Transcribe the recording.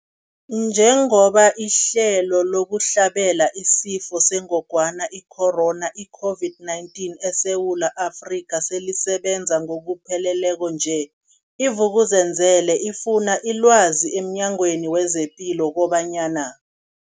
Njengoba ihlelo lokuhlabela isiFo sengogwana i-Corona, i-COVID-19, eSewula Afrika selisebenza ngokupheleleko nje, i-Vuk'uzenzele ifune ilwazi emNyangweni wezePilo kobanyana.